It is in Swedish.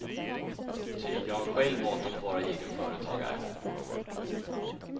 Ty jag har själv valt att vara egen företagare.